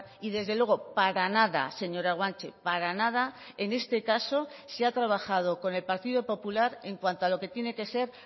y desde luego para nada señora guanche para nada en este caso se ha trabajado con el partido popular en cuanto a lo que tiene que ser